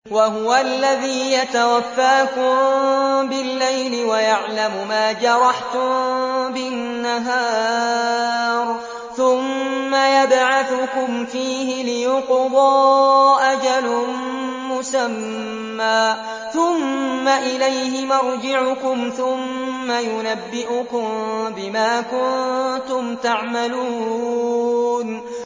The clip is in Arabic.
وَهُوَ الَّذِي يَتَوَفَّاكُم بِاللَّيْلِ وَيَعْلَمُ مَا جَرَحْتُم بِالنَّهَارِ ثُمَّ يَبْعَثُكُمْ فِيهِ لِيُقْضَىٰ أَجَلٌ مُّسَمًّى ۖ ثُمَّ إِلَيْهِ مَرْجِعُكُمْ ثُمَّ يُنَبِّئُكُم بِمَا كُنتُمْ تَعْمَلُونَ